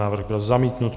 Návrh byl zamítnut.